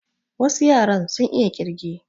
Wasu yaran sun iya ƙirge